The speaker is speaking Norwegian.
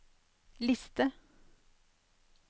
liste